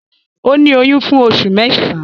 Ó ní oyún fún oṣù mẹ́sàán